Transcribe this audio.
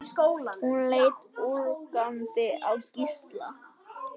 Hún leit ögrandi á Gísla.